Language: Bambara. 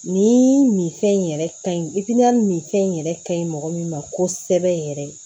Nin minfɛn in yɛrɛ ka ɲi minfɛn yɛrɛ ka ɲi mɔgɔ min ma kosɛbɛ yɛrɛ